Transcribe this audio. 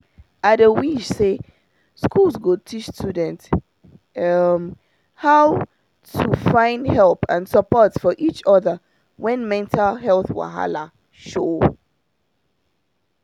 i dey wish say schools go teach students um how to find help and support for each other when mental health wahala show.